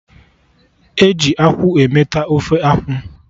Eji akwụ emeta Ofe akwụ